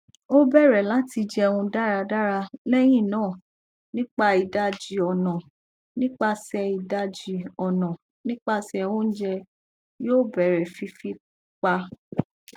o bẹrẹ lati jẹun daradara lẹhinna nipa idaji ọna nipasẹ idaji ọna nipasẹ ounjẹ yoo bẹrẹ fifi pa